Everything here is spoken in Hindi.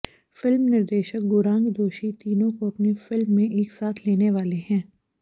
फिल्म निर्देशक गोरांग दोषी तीनों को अपनी फिल्म में एक साथ लेने वाले हैं